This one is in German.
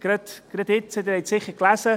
Sie haben es sicher gelesen.